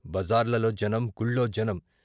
బజార్లలో జనం గుళ్లో జనం.